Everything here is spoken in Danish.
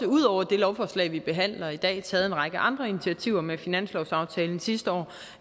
ud over det lovforslag vi behandler i dag taget en række andre initiativer med finanslovsaftalen sidste år